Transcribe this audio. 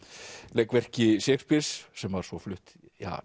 leikverki Shakespeares sem var svo flutt